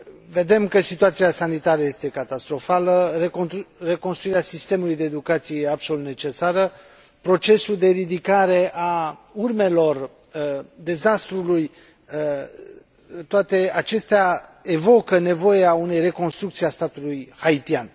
Vedem că situația sanitară este catastrofală, reconstruirea sistemului de educație e absolut necesară, procesul de ridicare a urmelor dezastrului, toate acestea evocă nevoia unei reconstrucții a statului haitian.